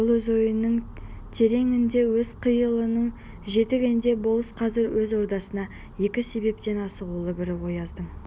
ол өз ойының тереңінде өз қиялының жетегінде болыс қазір өз ордасына екі себептен асығулы бірі ояздың